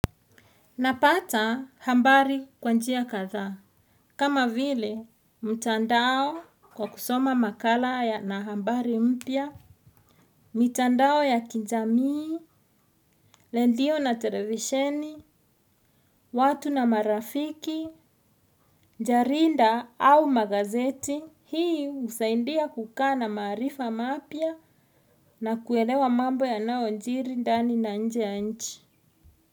Napata habari kwa njia kadhaa. Kama vile mtandao kwa kusoma makala na habari mpya. Mitandao ya kijamii. Redio na televisheni. Watu na marafiki. Jarida au magazeti. Hii husaidia kukaa na maarifa mapya na kuelewa mambo yanayojiri ndani na nje ya nchi.